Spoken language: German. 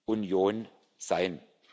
europäischen